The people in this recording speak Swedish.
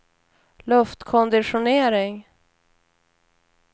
luftkonditionering